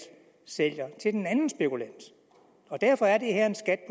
sælger til den anden spekulant og derfor er det her en skat